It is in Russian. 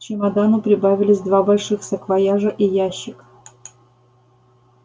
к чемодану прибавились два больших саквояжа и ящик